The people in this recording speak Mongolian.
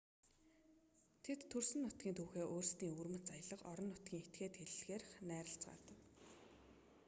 тэд төрсөн нутгийн түүхээ өөрсдийн өвөрмөц аялга орон нутгийн этгээд хэллэгээр найрлацгаадаг